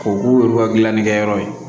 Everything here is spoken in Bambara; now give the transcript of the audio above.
O k'u yɛrɛ ka gilanni kɛyɔrɔ ye